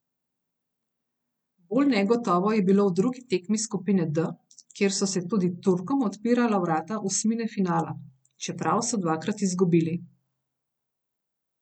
Bolj negotovo je bilo v drugi tekmi skupine D, kjer so se tudi Turkom odpirala vrata osmine finala, čeprav so dvakrat izgubili.